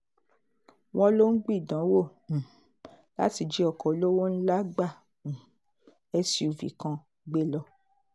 wọ́n lọ ń gbìdánwò um láti jí ọkọ̀ olówó ńlá gba um suv kan gbé lọ